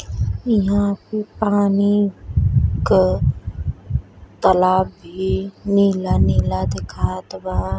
इहां पे पानी क तालाब भी नीला नीला दिखात बा।